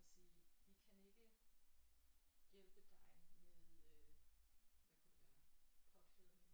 Og sige vi ikke kan hjælpe dig med øh hvad kunne det være påklædning